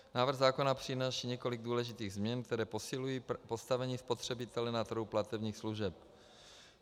Návrh zákona přináší několik důležitých změn, které posilují postavení spotřebitele na trhu platebních služeb.